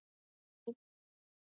Þannig leið tíminn.